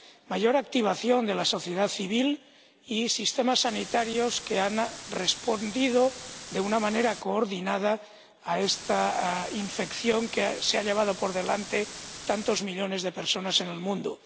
mayor activación de la sociedad civil y sistemas sanitarios que han respondido de una manera coordinada a esta infección, que se ha llevado por delante a tantos millones de personas en el mundo.